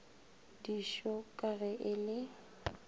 diso ka ge e le